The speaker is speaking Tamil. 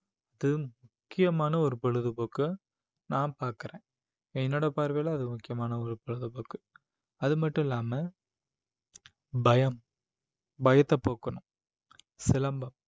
முக்கியமான ஒரு பொழுதுபோக்கு நான் பார்க்கிறேன் என்னோட பார்வையில அது முக்கியமான ஒரு பொழுதுபோக்கு அது மட்டும் இல்லாம பயம் பயத்தை போக்கணும் சிலம்பம்